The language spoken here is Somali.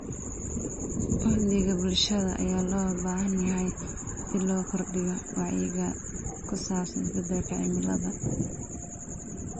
Uhdhigga bulshada ayaa loo baahan yahay si loo kordhiyo wacyiga ku saabsan isbedelka cimilada.